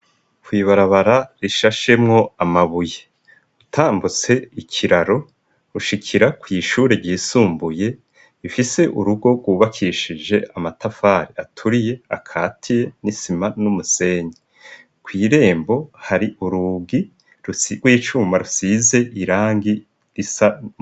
Kwibarabara rishashemwo amabuye utambutse ikiraro rushikira kw'ishure ryisumbuye ifise urugo rwubakishije amatafare aturiye akatiye n'isima n'umusenyi kw'irembo hari urugi rw'icuma rusize irangi isau.